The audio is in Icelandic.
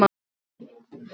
Svartsengi lýkur störfum.